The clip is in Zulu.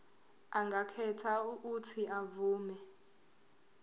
angakhetha uuthi avume